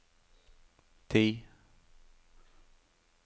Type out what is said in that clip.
ti